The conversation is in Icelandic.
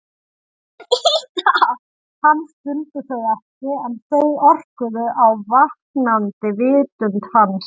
Hann skildi þau ekki en þau orkuðu á vaknandi vitund hans.